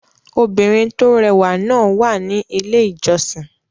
Obìnrin tó rẹwà náà wà ní Ilé-ìjọsìn.